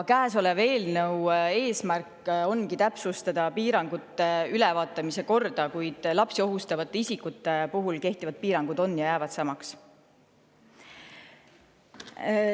Käesoleva eelnõu eesmärk on täpsustada piirangute ülevaatamise korda, kuid lapsi ohustavate isikute puhul kehtivad piirangud jäävad samaks.